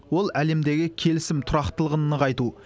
ол әлемдегі келісім тұрақтылығын нығайту